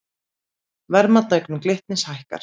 Verðmat á eignum Glitnis hækkar